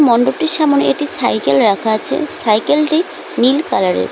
মন্ডপটির সামোনে একটি সাইকেল রাখা আছে সাইকেলটি নীল কালারের।